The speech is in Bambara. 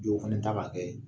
Jɔw fana ta ka kɛ